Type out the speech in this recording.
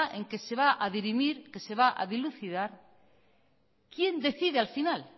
en que se va a dirimir que se va a dilucidar quién decide al final